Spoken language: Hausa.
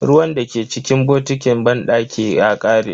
Ruwan dake cikin botikin banɗaki ya kare.